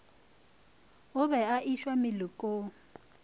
o be a išwa melokong